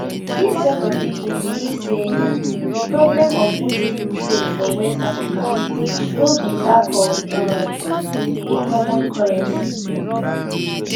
dis set of pipo believe say di problem of boosting trade for west african no be lack of um a common currency